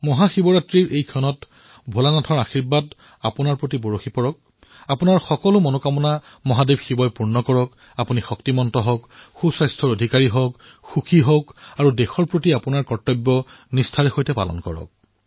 মহাশিৱৰাত্ৰিত ভোলে বাবাৰ আশীৰ্বাদ আপোনালোকৰ ওপৰত বৰ্ষণ হওক আপোনালোকৰ সকলো মনোকামনা শিৱজীয়ে পূৰণ কৰক আপোনালোক শক্তিমন্ত হওক স্বাস্থ্যৱান হওক সুখী হওক আৰু দেশৰ প্ৰতি নিজৰ কৰ্তব্য পালন কৰি থাকক